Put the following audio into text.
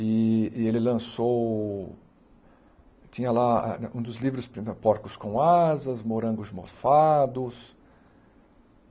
E e ele lançou... Tinha lá um dos livros, porcos com asas, morangos mofados.